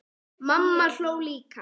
Mamma hló líka.